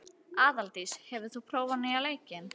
Aðaldís, hefur þú prófað nýja leikinn?